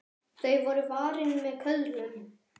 Þau voru varin með köðlum.